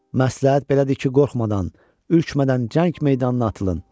Məsləhət belədir ki, qorxmadan, ürkmədən cəng meydanına atılın.